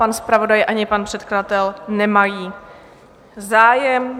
Pan zpravodaj, ani pan předkladatel nemají zájem.